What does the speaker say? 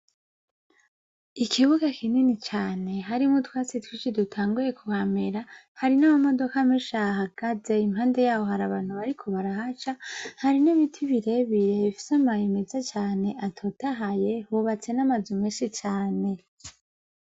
Ikibuga kinini cane harimwwo utwatsi dutanguye kuhamera, hari n'amamodoka menshi ahagaze, hari n'abantu bariko barahaca, hari n'ibiti birebire bifis'amababi meza cane atotahaye, hubatse n'amazu menshi cane.